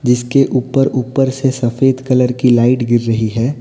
जिसके ऊपर ऊपर से सफेद कलर की लाइट गिर रही है।